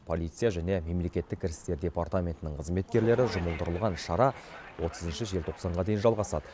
полиция және мемлекеттік кірістер департаментінің қызметкерлері жұмылдырылған шара отызыншы желтоқсанға дейін жалғасады